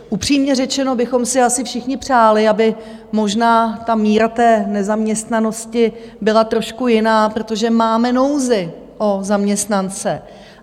Upřímně řečeno bychom si asi všichni přáli, aby možná míra té nezaměstnanosti byla trošku jiná, protože máme nouzi o zaměstnance.